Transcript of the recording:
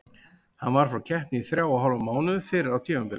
Hann var frá keppni í þrjá og hálfan mánuð fyrr á tímabilinu.